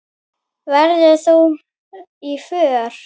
Verður þú með í för?